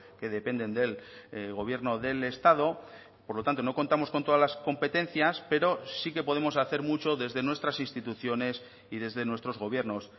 que dependen del gobierno del estado por lo tanto no contamos con todas las competencias pero sí que podemos hacer mucho desde nuestras instituciones y desde nuestros gobiernos